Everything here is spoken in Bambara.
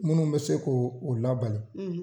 Munnu be se k'o o labali